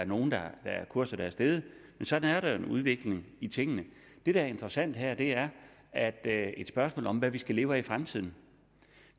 nogle kurser er steget men sådan er der jo en udvikling i tingene det der er interessant her er at det er et spørgsmål om hvad vi skal leve af i fremtiden